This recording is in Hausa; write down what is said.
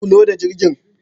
Ku je ku loda jirgin